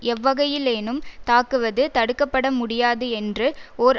எவ்வகையிலேனும் தாக்குவது தடுக்க பட முடியாது என்று ஓர்